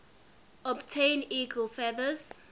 obtain eagle feathers